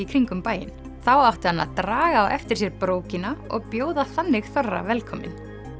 kringum bæinn þá átti hann að draga á eftir sér brókina og bjóða þannig þorra velkominn